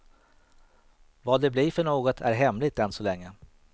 Vad det blir för något är hemligt än så länge.